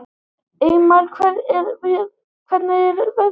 Eymar, hvernig er veðrið úti?